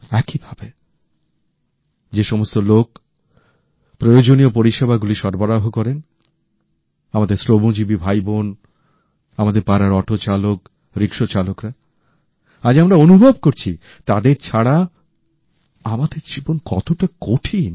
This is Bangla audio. একইভাবে যে সমস্ত লোক প্রয়োজনীয় পরিষেবাগুলি সরবরাহ করেন আমাদের শ্রমজীবী ভাইবোন আমাদের পাড়ার অটো চালক রিকশা চালকরা আজ আমরা অনুভব করছি তাদের ছাড়া আমাদের জীবন কতটা কঠিন